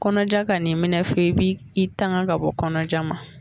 Kɔnɔja kan'i minɛ f'i bi i tanga ka bɔ kɔnɔja ma